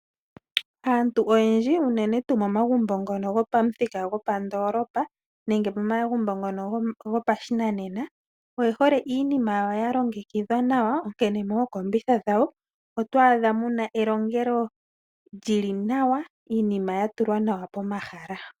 Aantunoyendji unenen tuu momagumbo ngono gopamuthika gopandolopa nenge momagumbo mono gopashinanena oye hole iinima yawo ya longekidhwa nawa. Onkene mookombitha dhawo oto adha muna elongelo lyi li nawa, iinima ya tulwa nawa pomahala.